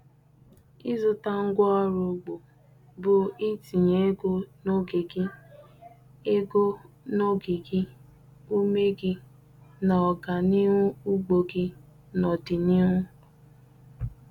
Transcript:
Ịzụta ngwaọrụ ugbo bụ itinye ego n'oge gị, ego n'oge gị, ume gị, na ọganihu ugbo gị n'ọdịnihu.